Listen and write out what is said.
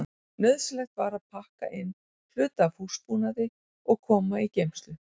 Nauðsynlegt var að pakka inn hluta af húsbúnaði og koma í geymslu.